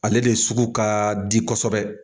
Ale de sugu ka di kɔ kosɛbɛ